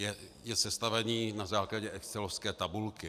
Je sestavený na základě excelovské tabulky.